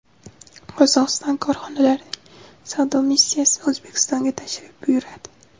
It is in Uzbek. Qozog‘iston korxonalarining savdo missiyasi O‘zbekistonga tashrif buyuradi.